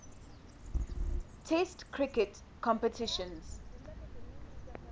test cricket competitions